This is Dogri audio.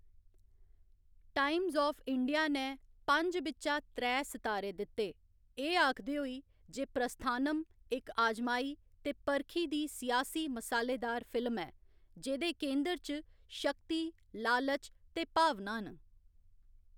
टाइम्स आफ इंडिया ने पंज बिच्चा त्रै सितारे दित्ते, एह्‌‌ आखदे होई जे प्रस्थानम इक आजमाई ते परखी दी सियासी मसालेदार फिल्म ऐ जेह्‌दे केंद्र च शक्ति, लालच ते भावनां न।